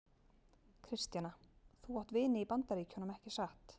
Kristjana: Þú átt vini í Bandaríkjunum, ekki satt?